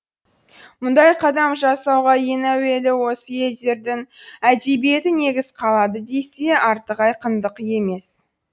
мұндай қадам жасауға ең әуелі осы елдердің әдебиеті негіз қалады десе артық айқындық емес